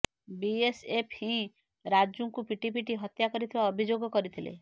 BSF ହିଁ ରାଜୁଙ୍କୁ ପିଟି ପିଟି ହତ୍ୟା କରିଥିବା ଅଭିଯୋଗ କରିଥିଲେ